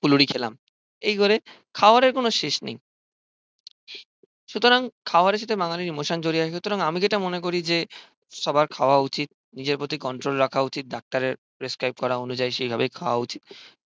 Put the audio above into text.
ফুলুরি খেলাম এই করে খাওয়ারের কোনো শেষ নেই সুতরাং খাওয়ারের সাথে বাঙালির ইমোশান জড়িয়ে আছে সুতরাং আমি যেটা মনে করি যে সবার খাওয়া উচিৎ নিজের প্রতি কন্ট্রল রাখা উচিৎ ডাক্তারের প্রেস্ক্রাইব করা অনুযায়ী সেভাবে খাওয়া উচিৎ।